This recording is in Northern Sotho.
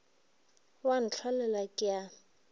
o a ntlholela ke a